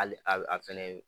Hali a a fɛnɛ